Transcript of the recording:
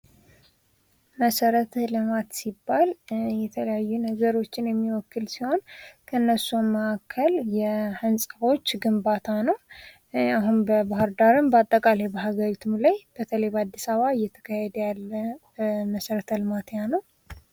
መሰረተ ልማት ሲባል የተለያዩ ነገሮችን የሚወክል ሲሆን ከእነርሱም መካከል የህንፃዎች ግንባታ ነው። አሁንም በባህር ዳርም በአጠቃላይ በሀገሪቱም ላይ በተለይ በአዲስ አበባ እየተካሄደ ያለ መሰረተ ልማት ያለው ነው።